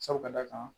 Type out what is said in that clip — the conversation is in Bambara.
Sabu ka d'a kan